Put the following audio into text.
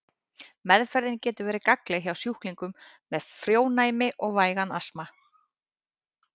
Meðferðin getur verið gagnleg hjá sjúklingum með frjónæmi og vægan astma.